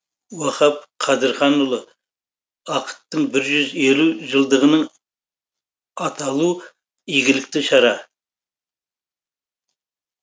уахап қыдырханұлы ақыттың бір жүз елу жылдығының аталу игілікті шара